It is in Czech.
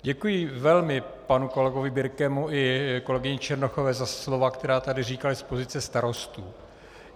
Děkuji velmi panu kolegovi Birkemu i kolegyni Černochové za slova, která tady říkali z pozice starostů.